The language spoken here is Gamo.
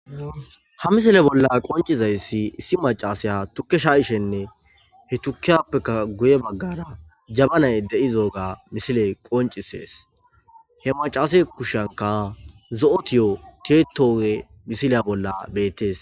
Ha misile bolla qoncizayssi issi macasiya tukke sha7ishenne he tukiyappeka guye baggara jabanay de7izo7ga misile qoncisees he macase kushanka zo7otiyo tietowe misileya bolla beettes.